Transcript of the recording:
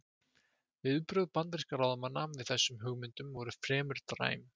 Viðbrögð bandarískra ráðamanna við þessum hugmyndum voru fremur dræm.